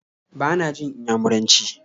Ba na jin Inyamuranci